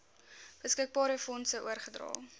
beskikbare fondse oorgedra